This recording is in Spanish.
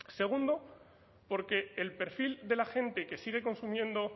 segundo porque el perfil de la gente que sigue consumiendo